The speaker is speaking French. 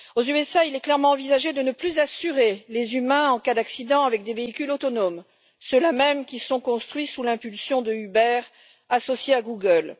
Aux États Unis, il est clairement envisagé de ne plus assurer les humains en cas d'accident avec des véhicules autonomes, ceux là mêmes qui sont construits sous l'impulsion de Uber, associé à Google.